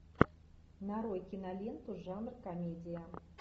нарой киноленту жанр комедия